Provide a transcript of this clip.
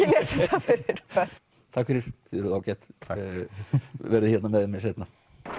þetta fyrir börn takk fyrir þið eruð ágæt verðið hérna með mér seinna